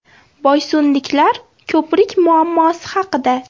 Boysunliklar ko‘prik muammosi haqida.